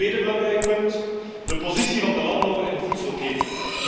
Tweede belangrijk punt de positie van de landbouwer in de voedselketen.